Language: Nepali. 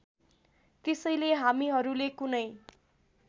त्यसैले हामीहरूले कुनै